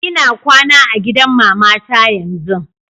lna kwana a gidan mamata yanzun.